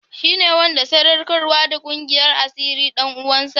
Shi ne wanda sadaukarwa da ƙungiyar asirin ɗan uwansa?